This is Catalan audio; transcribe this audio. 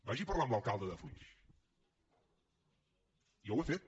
vagi a parlar amb l’alcalde de flix jo ho he fet